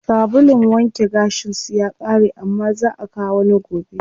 Sabulun wanke gashin su ya ƙare amma zaa akawo wani gobe.